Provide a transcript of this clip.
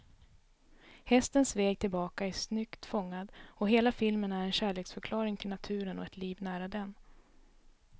Hästens väg tillbaka är snyggt fångad, och hela filmen är en kärleksförklaring till naturen och ett liv nära den.